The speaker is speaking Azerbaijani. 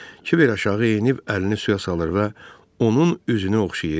Kiber aşağı enib əlini suya salır və onun üzünü oxşayırdı.